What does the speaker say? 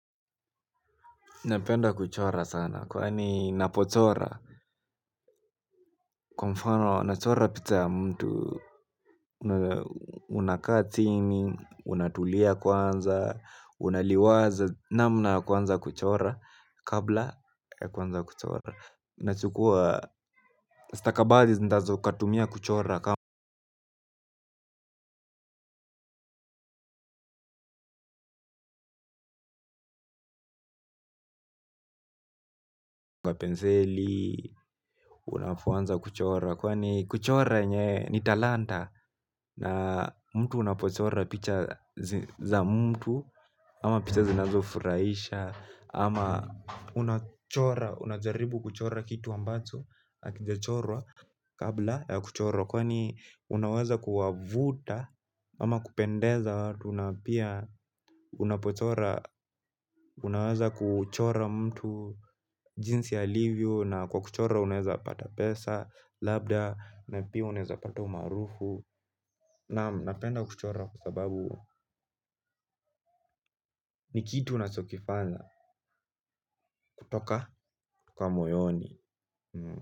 Napenda kuchora sana, kwani napochora. Kwa mfano, nachora picha ya mtu, unakaa chini, unatulia kwanza, unaliwaza, namna kwanza kuchora, kabla ya kuanza kuchora. Nachukua, stakabadhi zinazo katumia kuchora, kama unapoanza kuchora, kwani kuchora yenye ni talanta. Na mtu unapochora picha za mtu ama picha zinazo furahisha ama unachora, unajaribu kuchora kitu ambacho hakijachorwa kabla ya kuchorwa. Kwani unaweza kuwavuta. Ama kupendeza watu na pia unapochora, unaweza kuchora mtu jinsi alivyo na kwa kuchora unaeza pata pesa. Labda, na pia uneza pata umarufu Namu, napenda kuchora kwa sababu ni kitu nachokifanya kutoka kwa moyoni.